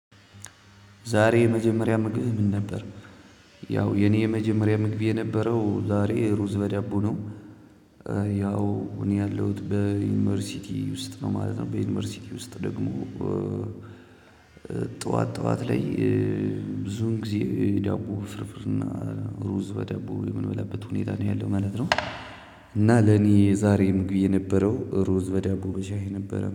ዛሬ የመጀመሪያ ምግብህ ምን ነበር? ያው የኔ የመጀመሪያ ምግብ የነበረው ዛሬ ሩዝ በዳቦ ነው። ያው እኔ ያለሁት በዩኒቨርሲቲ ውስጥ ነው ማለት ነው በዩኒቨርሲቲ ውስጥ ደግሞ። ጠዋት ጠዋት ላይ ብዙን ጊዜ ዳቦ በፍርፍርና እና ሩዝ በዳቦ የምንበላበት ሁኔታ ነው ያለው ማለት ነው። እና ለኔ ምግቤ የነበረው ሩዝ በዳቦ በሻይ የነበረ